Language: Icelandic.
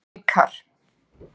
Vikar